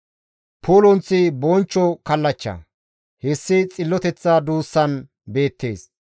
Pulunththi bonchcho kallachcha; hessi xilloteththa duussan beettees.